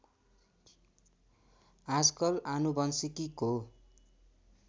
आजकल आनुवंशिकीको